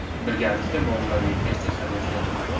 Birgalikda bolalarga ertak hadya qilaylik!.